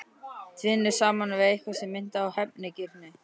Tvinnuð saman við eitthvað sem minnti á hefnigirni.